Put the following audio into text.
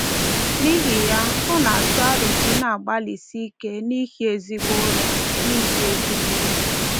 N'ihi ya, ọ na-atụ aro ka ị na-agbalịsi ike na-ehi ezigbo ụra. na-ehi ezigbo ụra.